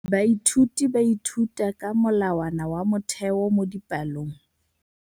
Baithuti ba ithuta ka molawana wa motheo mo dipalong.